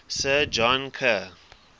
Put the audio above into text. sir john kerr